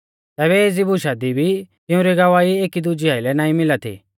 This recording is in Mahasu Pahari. तैबै एज़ी बुशा दी भी तिउंरी गवाही एकी दुजै आइलै नाईं मिला थी